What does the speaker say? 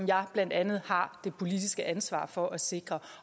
jeg blandt andet har det politiske ansvar for at sikre